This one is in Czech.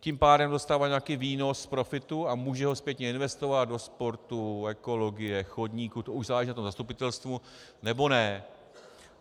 Tím pádem dostává nějaký výnos z profitu a může ho zpětně investovat do sportu, ekologie, chodníků, to už záleží na tom zastupitelstvu, nebo ne.